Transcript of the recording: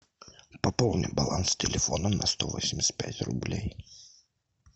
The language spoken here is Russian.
пополни баланс телефона на сто восемьдесят пять рублей